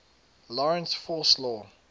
lorentz force law